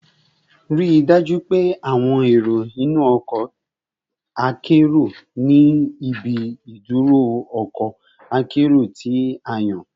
Rii daju pe awọn ero inu ọkọ akero ni ibi iduro ọkọ akero ti a yan